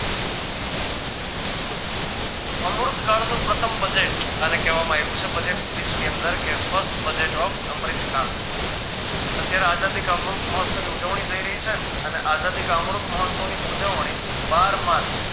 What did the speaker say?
અમૃતકાળનું પ્રથમ budget આને કહેવામાં આવ્યું છે Budget speech ની અંદર કે first budget અમ્રીતકાળ અત્યારે આઝાદી કા અમૃત મહોસ્તવ ની ઉજવણી થઈ રહી છે અને આઝાદી કા અમૃત મહોસ્તવની ઉજવણી બાર માર્ચ